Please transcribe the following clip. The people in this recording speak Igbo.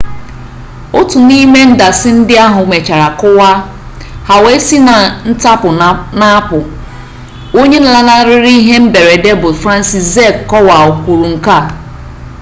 otu n'ime ndasị ndị ahụ mechara kụwaa ha wee si na ntapu na-apụ onye lanarịrị ihe mberede bụ franciszek kowal kwuru nke a